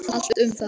Allt um það.